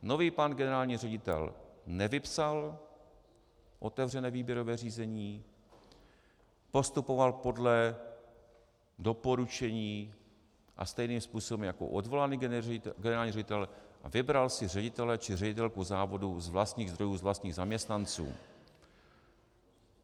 Nový pan generální ředitel nevypsal otevřené výběrové řízení, postupoval podle doporučení a stejným způsobem jako odvolaný generální ředitel a vybral si ředitele či ředitelku závodu z vlastních zdrojů, z vlastních zaměstnanců.